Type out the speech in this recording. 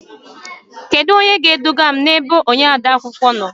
Kedu onye ga-eduga m ebe odeakwụkwọ nọ?